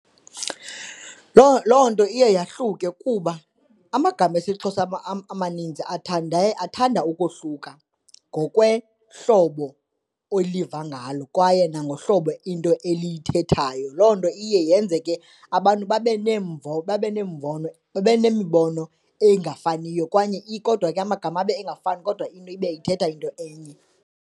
Loo, loo nto iye yahluke kuba amagama esiXhosa amaninzi athande, athanda ukohluka ngokwehlobo oliva ngalo kwaye nangohlobo into elithethwayo, loo nto iye yenze ke abantu babe neemvo, babe nombono babe nemibono engafaniyo kwaye kodwa ke amagama abe engafani kodwa into ibe ithetha into enye.